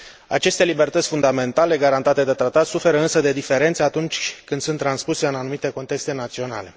Aceste libertăți fundamentale garantate de tratat suferă însă de diferențe atunci când sunt transpuse în anumite contexte naționale.